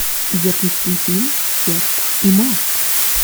запусти фильм серп и молот